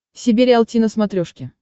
себе риалти на смотрешке